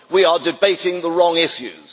We are debating the wrong issues.